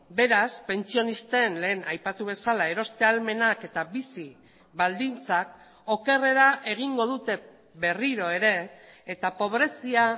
beraz pentsionisten lehen aipatu bezala eroste ahalmenak eta bizi baldintzak okerrera egingo dute berriro ere eta pobrezia